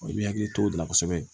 I bɛ hakili to o de la kosɛbɛ